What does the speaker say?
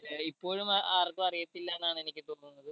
ഏർ ഇപ്പോഴും അഹ് ആർക്കും അറിയാതില്ലന്നാണ് എനിക്ക് തോന്നുന്നത്